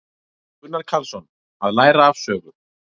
Gunnar Karlsson: Að læra af sögu.